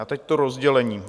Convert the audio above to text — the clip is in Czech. A teď to rozdělení.